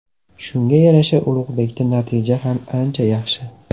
Shunga yarasha Ulug‘bekda natija ham ancha yaxshi.